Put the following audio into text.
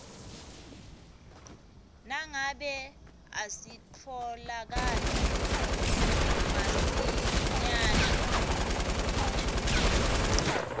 nangabe asitfolakali masinyane